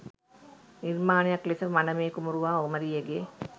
නිර්මාණයක් ලෙස මනමේ කුමරු හා කුමරියගේ